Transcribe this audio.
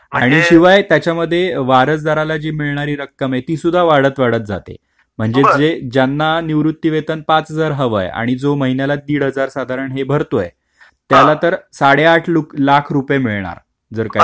शिवाय त्याच्यामध्ये वारसदाराला ची मिळणारी रक्कम माहिती सुद्धा वाढत वाढत जाते म्हणजे ज्यांना निवृत्तीवेतन पांच हजार हवा आणि जो महिन्याला दीड हजार साधारण भरत आला तर साडेआठ लाख रुपये मिळणार जर काही झाल तर